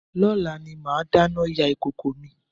Lọ́la ni màá dáná yá ìkòkò mi